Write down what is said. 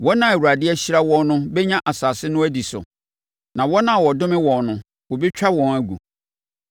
Wɔn a Awurade ahyira wɔn no bɛnya asase no adi so, na wɔn a ɔdome wɔn no wɔbɛtwa wɔn agu.